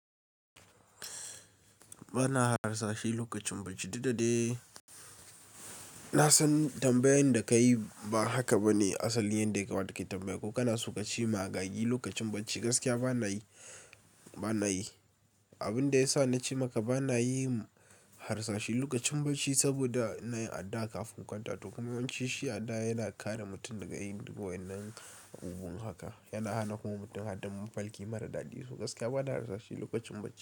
Ba na harsashe lokacin bacci. Duk da dai na san tambayan da ka yi ba haka ba ne asali yanda ya kamata kai tambayan. Ko kana so ka ci magagi lokacin bacci? Gaskiya ba na yi, ba na yi. Abin da ya sa na ce maka ba na yi harsashe lokacin bacci saboda ina yin addu'a kafin in kwanta. To kuma yawanci shi addu'a yana kare mutum daga yin duk wannan abubuwan haka. Yana hana kuma mutum hada mafalki mara daɗi. So gaskiya ba na harsashi lokacin bacci.